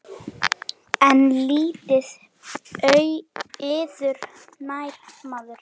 Myrk og tóm og blind.